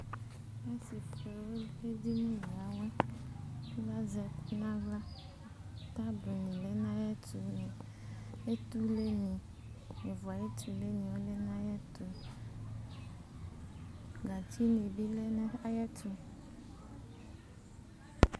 Tazɛ ɛƙʋ nʋ aɣla, gatsi nɩ lɛ nʋ aƴɛtʋtable nʋ etule nɩ lɛ nʋ aƴɛtʋ nʋ ƴovo tule nɩ